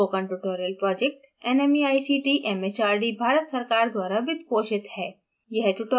spoken tutorial project nmeict mhrd Bharat सरकार द्वारा वित्त पोषित है